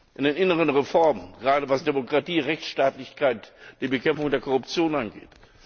an inneren Reformen, gerade was Demokratie, Rechtstaatlichkeit, die Bekämpfung der Korruption angeht.